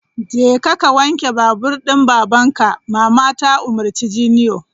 Jeka ka wanke babur din babanka! Mama ta umurci junior!